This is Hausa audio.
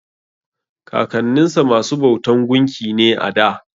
Kakanninsa masu bautan gunki ne a da.